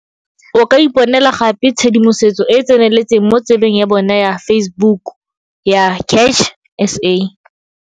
O ka iponela gape tshedimosetso e e tseneletseng mo tsebeng ya bona ya Facebook ya CACH SA.